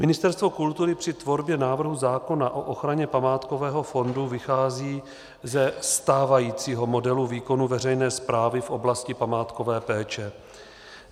Ministerstvo kultury při tvorbě návrhu zákona o ochraně památkového fondu vychází ze stávajícího modelu výkonu veřejné správy v oblasti památkové péče.